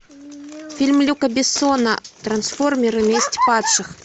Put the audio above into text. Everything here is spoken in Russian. фильм люка бессона трансформеры месть падших